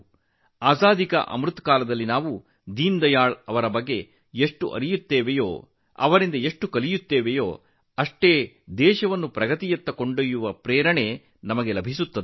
ಆಜಾದಿ ಕಾ ಅಮೃತ ಮಹೋತ್ಸವದಲ್ಲಿ ದೀನದಯಾಳ್ ಅವರನ್ನು ನಾವು ಹೆಚ್ಚು ತಿಳಿಯುತ್ತೇವೆ ಅವರಿಂದ ನಾವು ಹೆಚ್ಚು ಕಲಿಯುತ್ತೇವೆ ದೇಶವನ್ನು ಮುನ್ನಡೆಸಲು ನಾವು ಹೆಚ್ಚು ಸ್ಫೂರ್ತಿ ಪಡೆಯುತ್ತೇವೆ